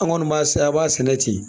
An kɔni b'a sɛnɛ a b'a sɛnɛ ten